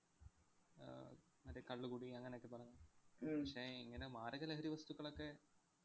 ആഹ് മറ്റേ കള്ളുകുടി അങ്ങനൊക്കെ പറഞ്ഞു പക്ഷേ ഇങ്ങനെ മാരക ലഹരി വസ്തുക്കളൊക്കെ